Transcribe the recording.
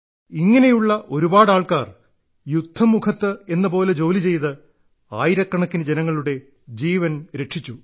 ഇങ്ങനെയുള്ള ഒരുപാട് ആൾക്കാർ യുദ്ധമുഖത്ത് എന്ന പോലെ ജോലി ചെയ്ത് ആയിരക്കണക്കിന് ജനങ്ങളുടെ ജീവൻ രക്ഷിച്ചു